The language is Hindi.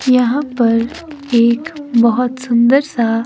यहां पर एक बहोत सुंदर सा--